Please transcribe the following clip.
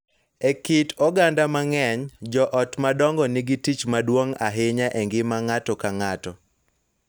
E kit oganda mang�eny, joot madongo nigi tich maduong� ahinya e ngima ng�ato ka ng�ato,